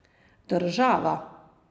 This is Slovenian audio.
Država?